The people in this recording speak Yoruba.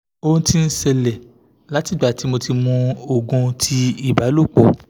o ti n ṣẹlẹ la ti igba ti mo ti mu oogun ti ibalopo